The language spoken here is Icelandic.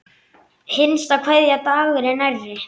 Hinsta kveðja Dagur er nærri.